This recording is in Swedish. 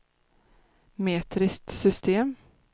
metriskt system